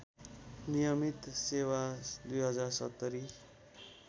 नियमित सेवा २०७०